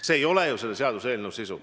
See ei ole selle seaduseelnõu sisu.